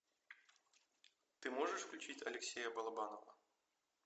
ты можешь включить алексея балабанова